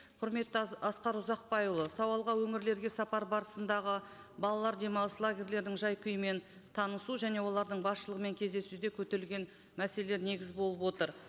құрметті асқар ұзақбайұлы сауалға өңірлерге сапар барысындағы балалар демалыс лагерлердің жай күйімен танысу және олардың басшылығымен кездесуде көтерілген мәселелер негіз болып отыр